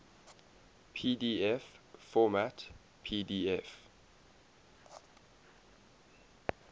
pdf format pdf